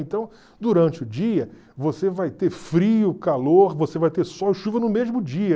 Então, durante o dia, você vai ter frio, calor, você vai ter sol e chuva no mesmo dia.